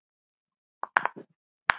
Kristín mín og Eldar Hrafn.